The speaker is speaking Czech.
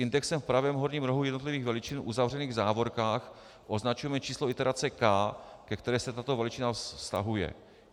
Indexem v pravém horním rohu jednotlivých veličin, uzavřeným v závorkách, označujeme číslo iterace k, ke které se tato veličina vztahuje.